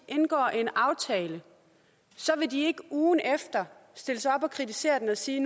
indgår en aftale så vil de ikke ugen efter stille sig op og kritisere den og sige